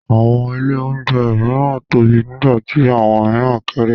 Àwọn ilé-oúnjẹ mìíràn tóbi nígbà tí àwọn mìíràn kéré.